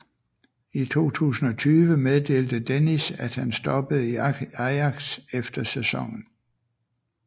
I 2020 meddelte Dennis at han stoppede i Ajax efter sæsonen